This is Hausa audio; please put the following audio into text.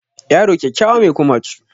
Yaro kyakkyawa mai kumatu